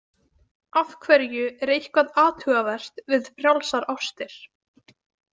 Af hverju er eitthvað athugavert við frjálsar ástir?